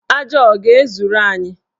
Aja a ọ ga-ezuru anyị?